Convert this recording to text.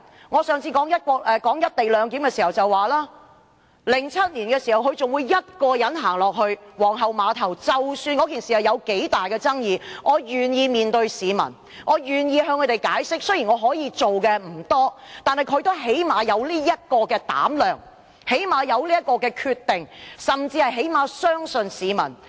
我上次談"一地兩檢"時表示，在2007年時，她仍會一人到皇后碼頭，不管該次事件具多大的爭議性，她也願意面對市民和向市民解釋，雖然她可以做的事不多，但至少她有膽量和決心，甚至能信任市民。